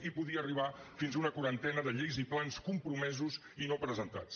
i podria arribar fins a una quarantena de lleis i plans compromesos i no presentats